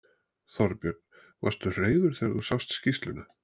Þorbjörn: Varstu reiður þegar þú sást skýrsluna?